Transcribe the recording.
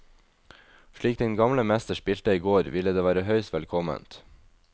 Slik den gamle mester spilte i går, ville det være høyst velkomment.